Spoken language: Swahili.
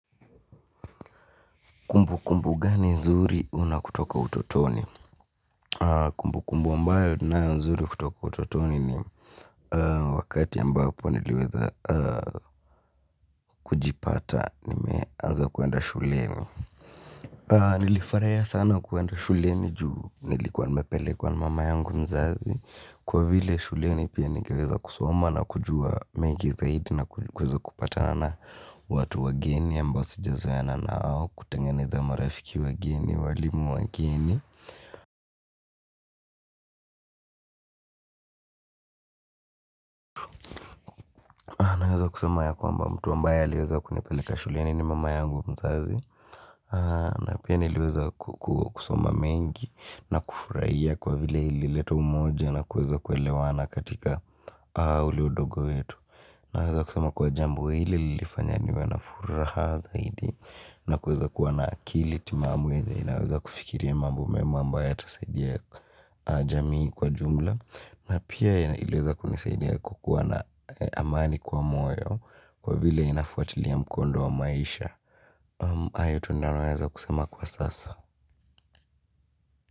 Kumbu kumbu gani nzuri una kutoka utotoni? Kumbu kumbu ambayo ninayo nzuri kutoka utotoni ni wakati ambapo niliweza kujipata nimeanza kuenda shuleni. Nilifaraia sana kuenda shuleni juu nilikuwa nimepelekwa na mama yangu mzazi kwa vile shuleni pia nikeweza kusoma na kujua mengi zaidi na kweza kupata na na watu wageni ambao sijazoeana nao kutengeneza marafiki wageni walimu wageni. Naweza kusema ya kwamba mtu ambaye aliweza kunipeleka shuleni ni mama yangu mzazi. Na pia nileweza kusoma mengi na kufurahia kwa vile ilileta umoja na kuweza kuelewana katika ule udogo wetu. Naweza kusema kuwa jambo ili lilifanya niwe na furaha zaidi. Naweza kuwa na akili timamu yenye inaweza kufikiria mambo mema ambayo yatasaidia jamii kwa jumla. Na pia iliweza kunisaidia kukuwa na amani kwa moyo kwa vile inafuatilia mkondo wa maisha. Ayo tu ndo naweza kusema kwa sasa.